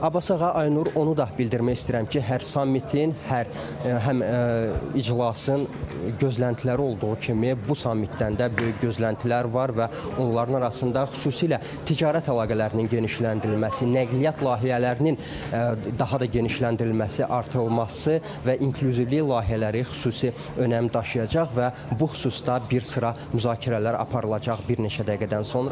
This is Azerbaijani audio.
Abbas ağa, Aynur, onu da bildirmək istəyirəm ki, hər sammitin, hər həm iclasın gözləntiləri olduğu kimi bu sammitdən də böyük gözləntilər var və onların arasında xüsusilə ticarət əlaqələrinin genişləndirilməsi, nəqliyyat layihələrinin daha da genişləndirilməsi, artırılması və inklüzivliyi layihələri xüsusi önəm daşıyacaq və bu xüsusda bir sıra müzakirələr aparılacaq bir neçə dəqiqədən sonra.